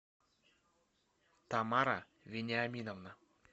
тамара вениаминовна